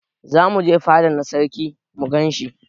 Zamu je fada na sarki mu gan shi.